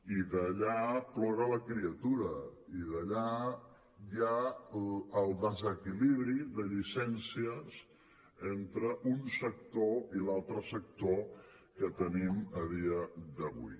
i d’allà plora la criatura i d’allà ve el desequilibri de llicències entre un sector i l’altre sector que tenim a dia d’avui